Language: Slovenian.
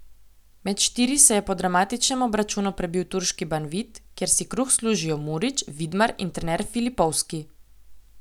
Med štiri se je po dramatičnem obračunu prebil turški Banvit, kjer si kruh služijo Murić, Vidmar in trener Filipovski.